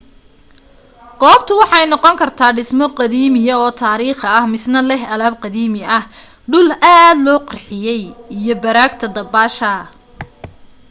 goobta waxa ay noqon kartaa dhismo qadiimi oo taarikhiya misna leh alaab qadiimi ah dhul aad loo qurxiyey iyo baraagta dabaasha